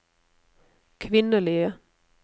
kvinnelige